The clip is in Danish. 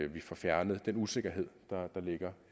vi får fjernet den usikkerhed der ligger